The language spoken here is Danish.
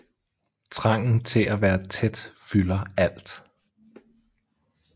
Trangen til at være tæt fylder alt